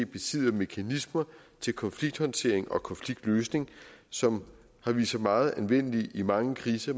besidder mekanismer til konflikthåndtering og konfliktløsning som har vist sig meget anvendelige i mange kriser